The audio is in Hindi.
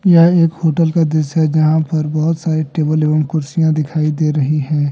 यह एक होटल का दृश्य है जहां पर बहुत सारी टेबल एवं कुर्सियां दिखाई दे रही हैं।